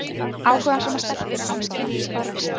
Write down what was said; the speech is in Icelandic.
Áhugasamar stelpur á námskeiði Vísindavefsins!